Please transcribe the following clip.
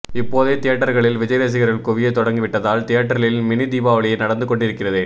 இப்போதே தியேட்டர்களில் விஜய் ரசிகர்கள் குவிய தொடங்கிவிட்டதால் தியேட்டரில் மினி தீபாவளியை நடந்து கொண்டிருக்கிறது